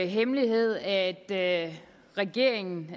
hemmelighed at regeringen